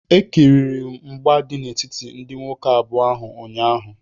Ekiriri m mgba dị n'etiti ndị nwoke abụọ ahụ ụnyaahụ